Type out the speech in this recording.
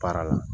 Baara la